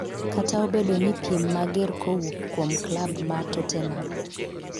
kata obedo ni piem mager kowuok kuom klab ma totenam